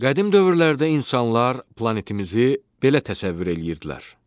Qədim dövrlərdə insanlar planetimizi belə təsəvvür eləyirdilər.